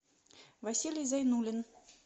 василий зайнулин